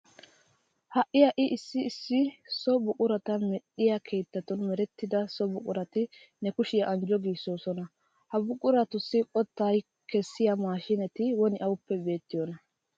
Ha"i ha"i issi issi so buqurata medhdhiya keettatun merettida so buqurati ne kushiya anjjo giissoosona. Ha buquratussi qottaa kessiya maashiineeti woni awuppe beettiyonaa?